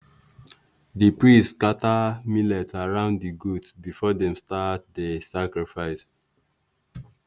the priests scatter millet around the goat before dem start the sacrifice.